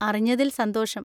അറിഞ്ഞതിൽ സന്തോഷം.